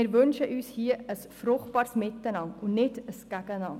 Wir wünschen uns hier ein fruchtbares Miteinander und kein Gegeneinander.